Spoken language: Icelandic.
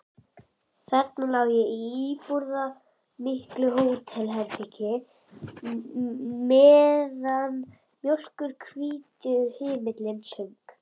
Þarna lá ég í íburðarmiklu hótelherbergi meðan mjólkurhvítur himinninn söng.